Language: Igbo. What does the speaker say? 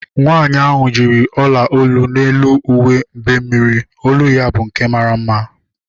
Nwaanyi ahu yiri ọla olu n'elu uwe mbemmiri olu ya bụ nke mara mma